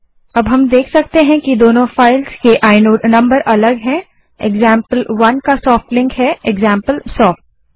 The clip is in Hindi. अब हम देख सकते हैं कि दोनों फाइल्स के आइनोड नंबर अलग हैं एक्जाम्पल1 का सोफ्ट लिंक एक्जाम्पलसॉफ्ट है